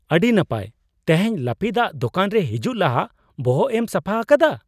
ᱟᱹᱰᱤ ᱱᱟᱯᱟᱭ! ᱛᱮᱦᱮᱧ ᱞᱟᱹᱯᱤᱫᱼᱟᱜ ᱫᱳᱠᱟᱱ ᱨᱮ ᱦᱤᱡᱩᱜ ᱞᱟᱦᱟ ᱵᱚᱦᱚᱜᱮᱢ ᱥᱟᱯᱷᱟ ᱟᱠᱟᱫᱟ ?